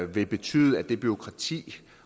vil betyde at det bureaukrati